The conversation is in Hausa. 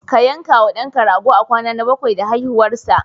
Ka yanka wa ɗanka rago a kwana na bakwai da haihuwarsa.